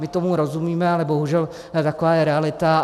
My tomu rozumíme, ale bohužel taková je realita.